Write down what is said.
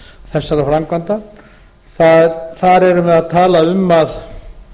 þessara framkvæmda þar erum við að tala um að